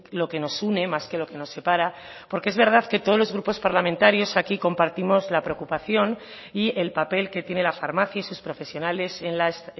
lo que nos une más que lo que nos separa porque es verdad que todos los grupos parlamentarios aquí compartimos la preocupación y el papel que tiene la farmacia y sus profesionales en las